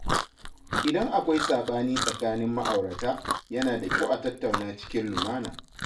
Idan akwai saɓani tsakanin ma’aurata, yana da kyau a tattauna cikin lumana.